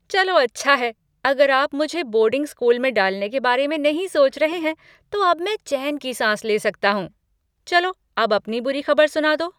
चलो अच्छा है, अगर आप मुझे बोर्डिंग स्कूल में डालने के बारे में नहीं सोच रहे हैं, तो अब मैं चैन की साँस ले सकता हूँ। चलो, अब अपनी बुरी खबर सुना दो।